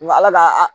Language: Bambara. Nka ala ka